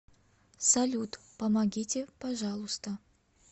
салют помогите пожалуйста